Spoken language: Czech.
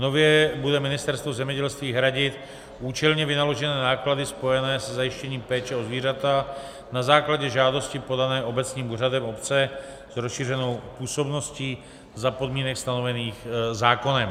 Nově bude Ministerstvo zemědělství hradit účelně vynaložené náklady spojené se zajištěním péče o zvířata na základě žádosti podané obecním úřadem obce s rozšířenou působností za podmínek stanovených zákonem.